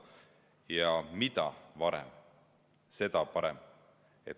Ja mida varem, seda parem.